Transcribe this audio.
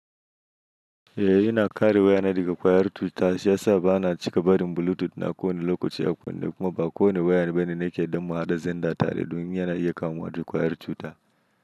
Eh ina kare wayana daga kwayar cuta shiyasa bana cika barin bluetooth na kowane lokaci a kunne kuma ba kowane wayan bane nake yadda muhaɗa zenda tare domin yana iya kamuwa da kwayar cuta.